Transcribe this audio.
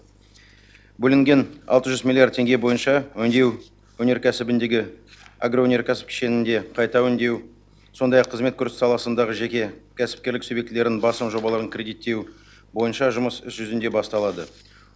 бөлінген алты жүз миллиард теңге бойынша өңдеу өнеркәсібіндегі агроөнеркәсіп кешеніндегі қайта өңдеу сондай ақ қызмет көрсету саласындағы жеке кәсіпкерлік субъектілерінің басым жобаларын кредиттеу бойынша жұмыс іс жүзінде басталады